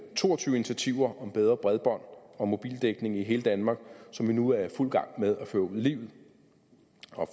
to og tyve initiativer om bedre bredbånds og mobildækning i hele danmark som vi nu er i fuld gang med at føre ud i livet